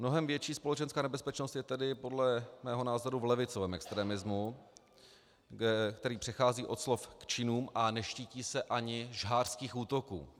Mnohem větší společenská nebezpečnost je tedy podle mého názoru v levicovém extremismu, který přechází od slov k činům a neštítí se ani žhářských útoků.